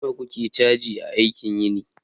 nawa kuke cajin aikin yini